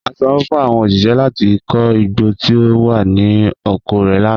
O sanwo fun awọn oṣiṣẹ lati ko igbo ti o wa ni oko rẹ lana.